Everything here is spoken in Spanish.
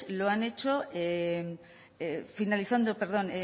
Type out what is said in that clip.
lo han hecho finalizando perdón